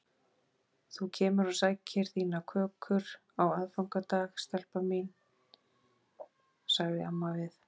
Þú kemur og sækir þínar kökur á aðfangadag, stelpa mín sagði amma við